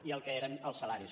i el que eren els salaris